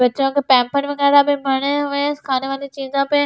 बच्चों के पेपर वगैरह भी पड़े हुए है खाने वाली चीजों पे--